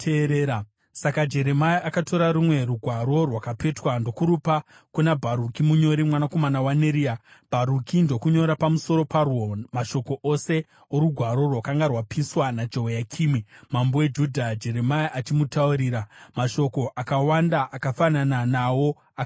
Saka Jeremia akatora rumwe rugwaro rwakapetwa ndokurupa kuna Bharuki munyori, mwanakomana waNeria, Bharuki ndokunyora pamusoro parwo mashoko ose orugwaro rwakanga rwapiswa naJehoyakimi, mambo weJudha, Jeremia achimutaurira. Mashoko akawanda akafanana nawo akawedzerwa.